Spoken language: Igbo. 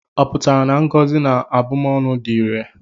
Ọ pụtara na ngọzi na abụmọnụ dị irè?